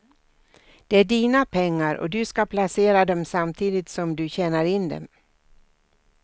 Det är dina pengar och du ska placera dem samtidigt som du tjänar in dem.